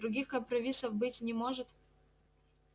других компромиссов быть не может